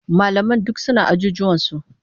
Malaman duk suna ajujuwansu.